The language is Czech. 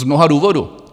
Z mnoha důvodů.